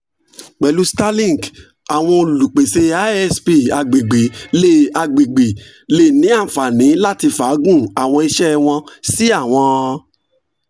pẹlu starlink awọn olupese isp agbegbe le agbegbe le ni anfani lati faagun awọn iṣẹ wọn si awọn